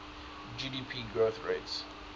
gdp growth rates